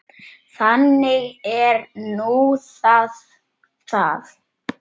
Þannig er nú það það.